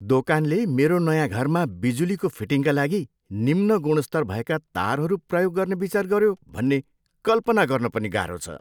दोकानले मेरो नयाँ घरमा बिजुलीको फिटिङका लागि निम्न गुणस्तर भएका तारहरू प्रयोग गर्ने विचार गऱ्यो भन्ने कल्पना गर्न पनि गाह्रो छ।